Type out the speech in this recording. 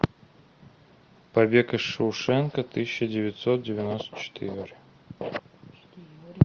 побег из шоушенка тысяча девятьсот девяносто четыре